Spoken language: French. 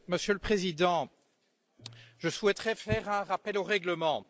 Monsieur le Président, je souhaiterais procéder à un rappel au règlement.